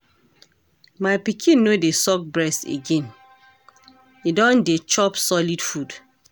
My pikin no dey suck breast again, im don dey chop solid food.